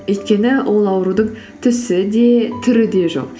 өйткені ол аурудың түсі де түрі де жоқ